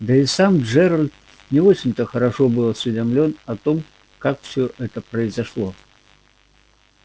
да и сам джералд не очень-то хорошо был осведомлён о том как всё это произошло